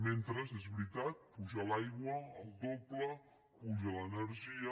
mentre és veritat puja l’aigua el doble puja l’energia